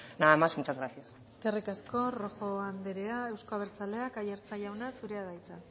nada más muchas gracias eskerrik asko rojo anderea euzko abertzaleak aiartza jauna zurea da hitza